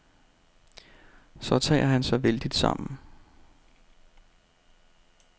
Så tager han sig vældigt sammen.